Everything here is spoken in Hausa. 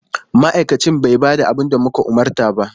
Ma'aikacin bai ba da abin da muka umarta ba.